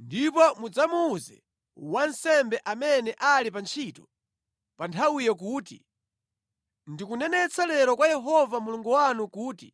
ndipo mudzamuwuze wansembe amene ali pa ntchito pa nthawiyo kuti, “Ndikunenetsa lero kwa Yehova Mulungu wanu kuti